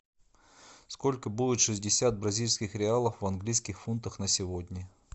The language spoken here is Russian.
сколько будет шестьдесят бразильских реалов в английских фунтах на сегодня